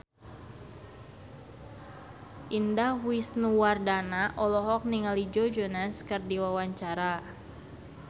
Indah Wisnuwardana olohok ningali Joe Jonas keur diwawancara